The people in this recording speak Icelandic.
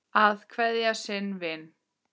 Að kveðja sinn vin